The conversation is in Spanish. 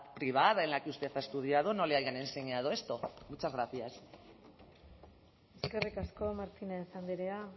privada en la que usted ha estudiado no le hayan enseñado esto muchas gracias eskerrik asko martínez andrea